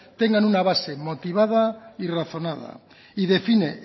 tengan una base motivada y razonada y define